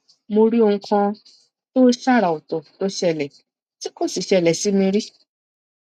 mo rí ohun kan tó ṣàrà ọtọ tó ṣẹlẹ ti ko sí ṣẹlẹ si mi rí